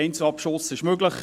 Einzelabschuss ist möglich;